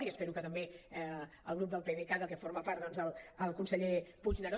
i espero que també el grup del pdecat del qual forma part el conseller puigneró